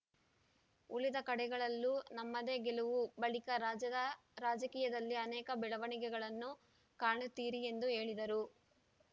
ಉಳಿದ ಕಡೆಗಳಲ್ಲೂ ನಮ್ಮದೇ ಗೆಲವು ಬಳಿಕ ರಾಜ್ಯದ ರಾಜಕೀಯದಲ್ಲಿ ಅನೇಕ ಬೆಳವಣಿಗೆಗಳನ್ನು ಕಾಣುತ್ತೀರಿ ಎಂದು ಹೇಳಿದರು